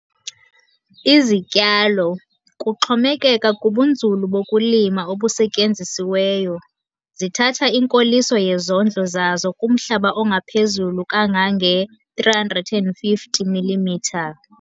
Izityalo, kuxhomekeka kubunzulu bokulima obusetyenzisiweyo, zithatha inkoliso yezondlo zazo kumhlaba ongaphezulu kangange-350 mm.